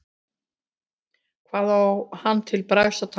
Hvað á hann til bragðs að taka?